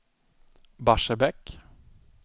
Barsebäck